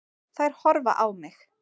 Þær horfa á mig.